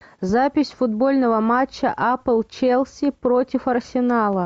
запись футбольного матча апл челси против арсенала